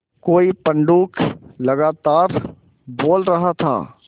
कोई पंडूक लगातार बोल रहा था